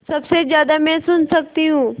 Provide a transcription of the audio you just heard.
सबसे ज़्यादा मैं सुन सकती हूँ